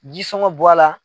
Jisɔngɔ bɔ a la.